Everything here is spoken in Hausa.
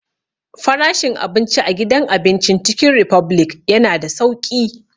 Frashin abinci a gidan abincin Cikin ripublic ya na da sauƙi